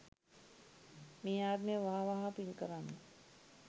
මේ ආත්මේ වහා වහා පින් කරන්න